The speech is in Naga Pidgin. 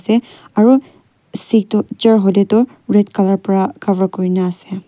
te aru seat tu chair hoilae tu colour pra cover kurina ase.